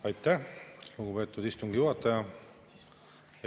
Aitäh, lugupeetud istungi juhataja!